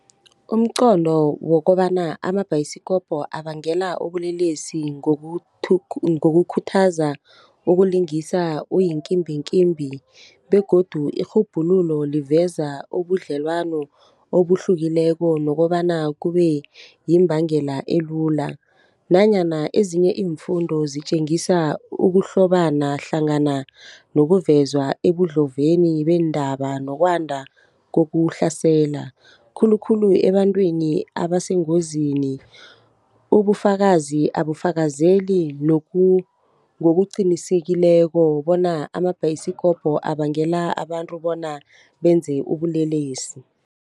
Umqondo wokobana amabhayisikopo abangela ubulelesi ngokukhuthaza ukulingisa uyikimbinkimbi begodu irhubhululo liveza ubudlelwano obuhlukileko nokobana kube yimbangela elula. Nanyana ezinye iimfundo zitjengisa ukuhlobana hlangana nokuveza ekudloveni weendaba nokwanda kokuhlasela, khulukhulu ebantwini abasengozini. Ubufakazi abufakazeli ngokuqinisileko bona amabhayisikopo abangela abantu bona benze ubulelesi.